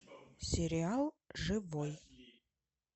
сериал живой